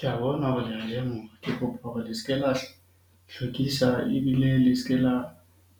Ke a bona hore le ya ja . Ke kopa hore le se ke la hlwekisa ebile le se ke la